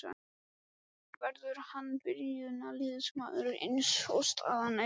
Verður hann byrjunarliðsmaður eins og staðan er í dag?